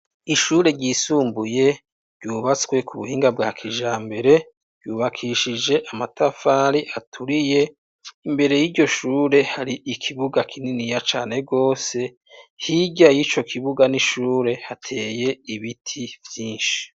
Ishure ryisumbuye ryubatswe ku buhinga bwa kija mbere yubakishije amatafari aturiye imbere y'iryo shure hari ikibuga kinini ya cane rwose hiryay' ico kibuga n'ishure hateye ibiti vyinshi.